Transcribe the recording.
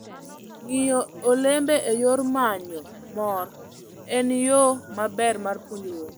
Ng'iyo olembe e yor manyo mor en yo maber mar puonjruok.